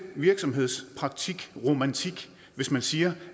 virksomhedspraktikromantik hvis man siger